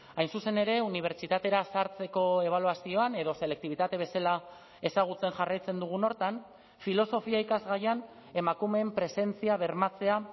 hain zuzen ere unibertsitatera sartzeko ebaluazioan edo selektibitate bezala ezagutzen jarraitzen dugun horretan filosofia ikasgaian emakumeen presentzia bermatzea